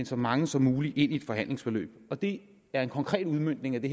så mange som muligt ind i et behandlingsforløb og det er en konkret udmøntning af det